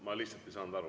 Ma lihtsalt ei saanud aru.